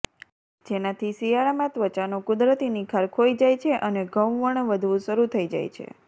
જેનાથી શિયાળામાં ત્વચાનો કુદરતી નિખાર ખોઈ જાય છે અને ઘઉંવર્ણ વધવું શરૂ થઈ જાય છે